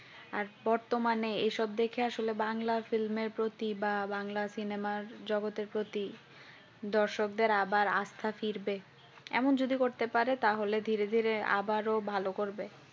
আর বর্তমানে এসব দেখে আসলে বাংলা film এর প্রতি বা বাংলা cinema আর জগতের প্রতি দর্শকদের আবার আস্তা ফিরবে এমন যদি করতে পারে তাহলে ধীরে ধীরে আবারও ভালো করবে